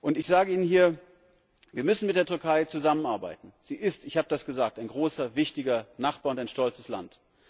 Und ich sage Ihnen hier Wir müssen mit der Türkei zusammenarbeiten, sie ist ich hab' das gesagt ein großer, wichtiger Nachbar und ein stolzes Land.